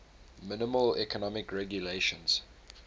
minimal economic regulations